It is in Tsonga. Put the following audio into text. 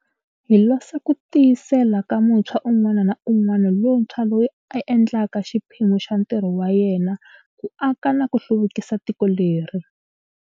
Hi losa ku tiyisela ka muntshwa un'wana na un'wana lontshwa loyi a endlaka xiphemu xa ntirho wa yena ku aka na ku hluvukisa tiko leri.